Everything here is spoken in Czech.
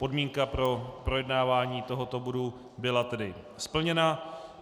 Podmínka pro projednávání tohoto bodu byla tedy splněna.